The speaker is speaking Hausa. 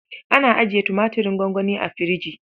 Ana ajiye tumaturin gwangwani a firji.